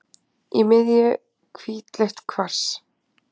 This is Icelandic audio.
Í miðju hvítleitt kvars.